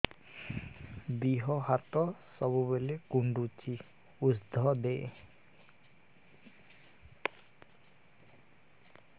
ଦିହ ହାତ ସବୁବେଳେ କୁଣ୍ଡୁଚି ଉଷ୍ଧ ଦେ